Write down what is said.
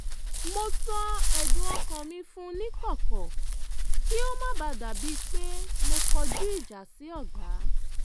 mo sọ ẹ̀dùn ọkàn mi fún níkọ̀kọ̀ kí ó má bàa dà bíi pé mo kọjú ìjà sí ọ̀gá